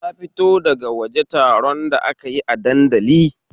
Na fito daga waje taron da akayi a dandali